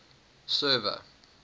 server